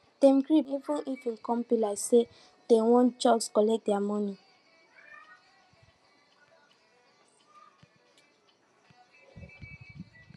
dem gree pay de monie even if e com be like say dem wan jux collect their monie